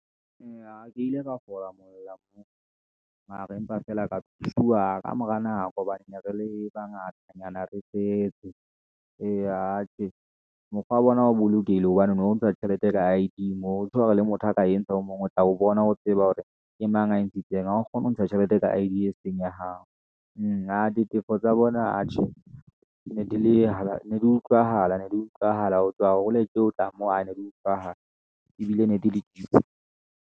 Eya ke ile ka fola mola mara, empa feela ka thusiwa ka mora nako hobane ne re le bangata nyana re fetse eya atjhe. Mokgwa wa bona o bolokehile hobane o no ntsha tjhelete ka I_D le motho a ka entsha o mong o tla o bona o tseba hore ke mang a ntshitseng a kgone ho ntsha tjhelete ka I_D e seng ya hao. ditefo tsa bona, atjhe ne di utlwahala ne di utlwahala ho tswa hole le ho tla mo, aa ne di utlwahala ebile ne di le .